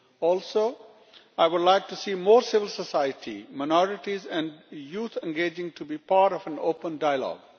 Also, I would like to see more civil society, minorities and youth engaging to be part of an open dialogue.